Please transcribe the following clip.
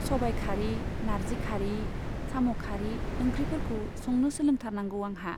सबाइखारि, नारजिखारि, साम'खारि ओंख्रिफोरखौ संनो सोलोंथारनांगौ आंहा।